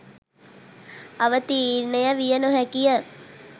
අවතීර්ණය විය නොහැකිය.